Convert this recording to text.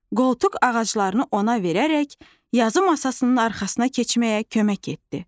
Qoltuq ağaclarını ona verərək, yazı masasının arxasına keçməyə kömək etdi.